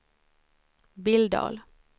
Billdal